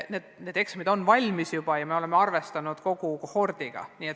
Need eksamid on juba valmis ja me oleme arvestanud kogu kohordiga.